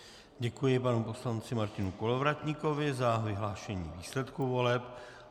Děkuji panu poslanci Martinu Kolovratníkovi za vyhlášení výsledků voleb.